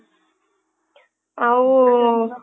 ଆଉ